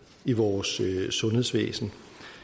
i vores sundhedsvæsen